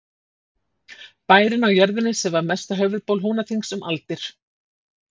Bærinn á jörðinni sem var mesta höfuðból Húnaþings um aldir.